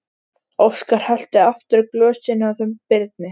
Óskar hellti aftur í glösin hjá þeim Birni.